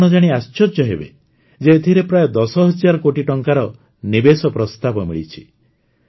ଆପଣ ଜାଣି ଆଶ୍ଚର୍ଯ୍ୟ ହେବେ ଯେ ଏଥିରେ ପ୍ରାୟ ଦଶ ହଜାର କୋଟି ଟଙ୍କାର ନିବେଶ ପ୍ରସ୍ତାବ ମିଳିଛି